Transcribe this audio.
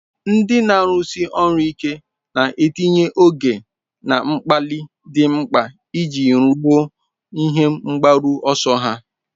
Ndị na-arụsi ọrụ ike na-etinye oge na mgbalị dị mkpa iji ruo ihe mgbaru ọsọ ha.